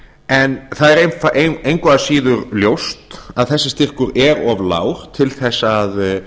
en það er engu að síður ljóst að þessi styrkur er of lágur til að